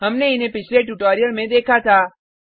हमने इन्हे पिछले ट्यूटोरियल में देखा था